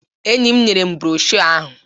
Enyi m nyere m brọshọ ahụ